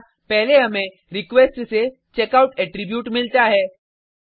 यहाँ पहले हमें रिक्वेस्ट से चेकआउट एट्रीब्यूट मिलता है